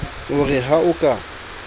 o re ha o ka